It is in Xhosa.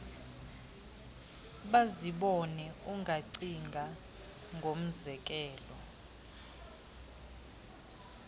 bazibone ungacinga ngomzekelo